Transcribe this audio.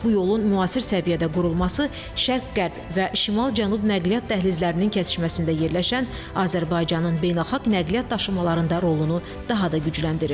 Bu yolun müasir səviyyədə qurulması Şərq-Qərb və Şimal-Cənub nəqliyyat dəhlizlərinin kəsişməsində yerləşən Azərbaycanın beynəlxalq nəqliyyat daşımalarında rolunu daha da gücləndirir.